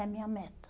É a minha meta.